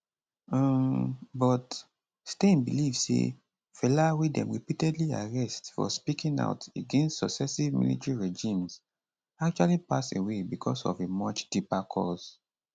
um but stein believe say fela wey dem repeatedly arrest for speaking out against successive military regimes actually pass away becos of a much deeper cause